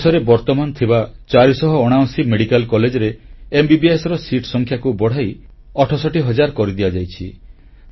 ଦେଶରେ ବର୍ତ୍ତମାନ ଥିବା 479 ମେଡ଼ିକାଲ କଲେଜରେ ଏମବିବିଏସ ସିଟ୍ ସଂଖ୍ୟାକୁ ବଢ଼ାଇ 68 ହଜାର କରିଦିଆଯାଇଛି